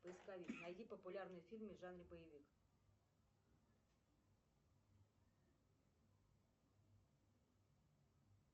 поисковик найди популярные фильмы в жанре боевик